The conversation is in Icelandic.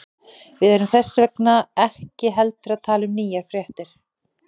Við erum þess vegna ekki heldur að tala um nýjar fréttir.